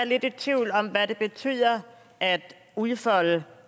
lidt i tvivl om hvad det betyder at udfolde